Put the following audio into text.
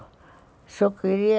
Se eu queria...